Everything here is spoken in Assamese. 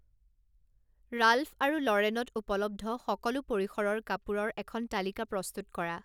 ৰাল্ফ আৰু ল'ৰেনত উপলব্ধ সকলো পৰিসৰৰ কাপোৰৰ এখন তালিকা প্ৰস্তুত কৰা